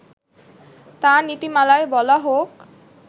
তা নীতিমালায় বলা হোক